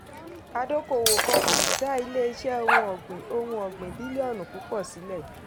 adókòwò kan um dá ilé iṣẹ́ ohun ọ̀gbìn ohun ọ̀gbìn bílíọ̀nù púpọ̀ sílẹ̀.